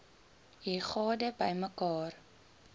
u gade bymekaar